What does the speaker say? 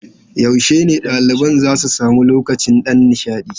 Yaushe ne ɗaliban za su sami lokacin ɗan nishaɗi?